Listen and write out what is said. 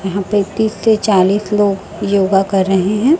यहां पे तीस से चालीस लोग योगा कर रहे है।